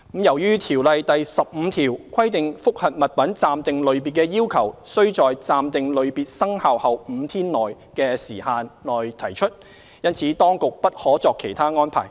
由於《條例》第15條規定覆核物品暫定類別的要求須在"暫定類別生效後5天內"的時限內提出，因此當局不可作其他安排。